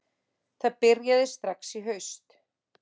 Það byrjaði strax í haust